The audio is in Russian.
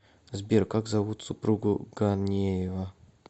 сбер как зовут супругу ганеева